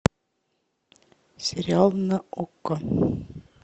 сериал на окко